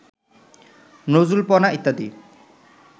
নজরুলপনা ইত্যাদি